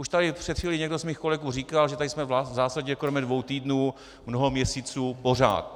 Už tady před chvílí někdo z mých kolegů říkal, že tady jsme v zásadě kromě dvou týdnů mnoho měsíců pořád.